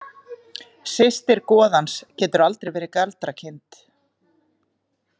Systir goðans getur aldrei verið galdrakind.